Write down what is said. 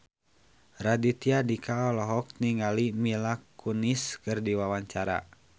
Raditya Dika olohok ningali Mila Kunis keur diwawancara